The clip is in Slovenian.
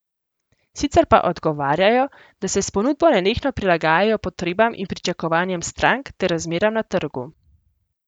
Sicer pa odgovarjajo, da se s ponudbo nenehno prilagajajo potrebam in pričakovanjem strank ter razmeram na trgu.